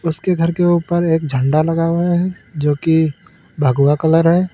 उसके घर के उपर एक झंडा लगा हुआ है जो कि भगवा कलर है।